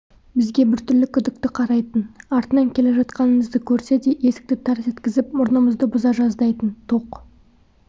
бізге біртүрлі күдікті қарайтын артынан келе жатқанымызды көрсе де есікті тарс еткізіп мұрнымызды бұза жаздайтын тоқ